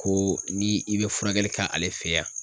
Ko ni i be furakɛli kɛ ale fe yan